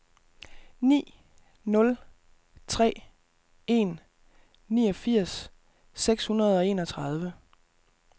ni nul tre en niogfirs seks hundrede og enogtredive